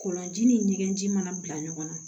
Kɔlɔnji ni ɲɛgɛn ji mana bila ɲɔgɔn na